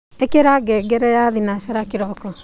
ikira ngengere ya thinashara kiroko